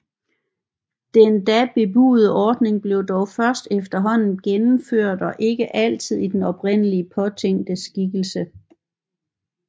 Den da bebudede ordning blev dog først efterhånden gennemført og ikke altid i den oprindeligt påtænkte skikkelse